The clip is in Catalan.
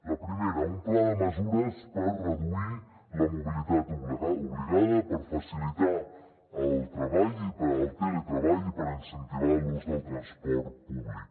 la primera un pla de mesures per reduir la mobilitat obligada per facilitar el teletreball i per incentivar l’ús del transport públic